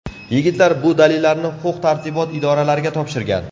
Yigitlar bu dalillarni huquq-tartibot idoralariga topshirgan.